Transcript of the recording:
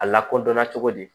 A lakodɔnna cogo di